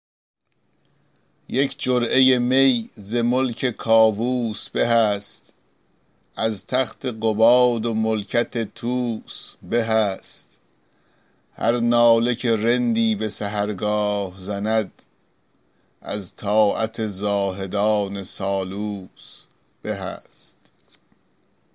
یک جرعه می ز ملک کاووس به است از تخت قباد و ملکت طوس به است هر ناله که رندی به سحرگاه زند از طاعت زاهدان سالوس به است